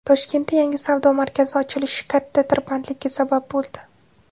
Toshkentda yangi savdo markazi ochilishi katta tirbandlikka sabab bo‘ldi.